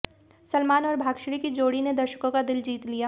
सलमान और भाग्यश्री की जोड़ी ने दर्शकों का दिल जीत लिया